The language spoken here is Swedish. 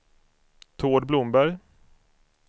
Tord Blomberg